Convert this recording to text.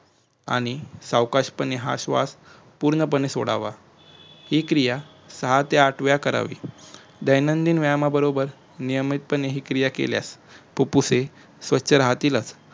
आणि सावकाशपणे हा श्वास पुर्णपणे सोडावा ही क्रिया सहा ते आठ वेळा करावी दयनीन व्यायामाबरबोर नयमीतपणे ही क्रिया केल्यास फुप्फुसे स्वछ राहतीलच